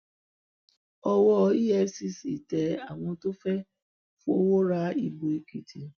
owó efcc tẹ àwọn tó fẹẹ fọwọ ra ìbò èkìtì